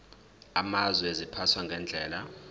amazwe ziphathwa ngendlela